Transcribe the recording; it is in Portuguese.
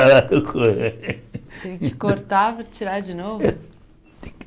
Teve que cortar para tirar de novo?